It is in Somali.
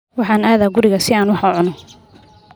Waxaan aadaa guriga si aan wax u cuno